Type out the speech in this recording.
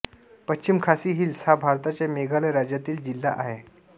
पश्चिम खासी हिल्स हा भारताच्या मेघालय राज्यातील जिल्हा आहे